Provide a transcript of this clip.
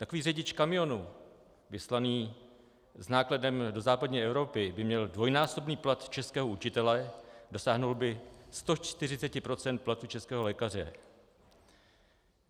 Takový řidič kamionu vyslaný s nákladem do západní Evropy by měl dvojnásobný plat českého učitele, dosáhl by 140 % platu českého lékaře.